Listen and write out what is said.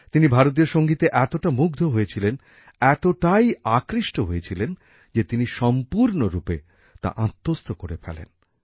তিনি ভারতীয় সঙ্গীতে এতটা মুগ্ধ হয়েছিলেন এতটাই আকৃষ্ট হয়েছিলেন যে তিনি সম্পূর্ণরূপে তা আত্মস্থ করে ফেলেন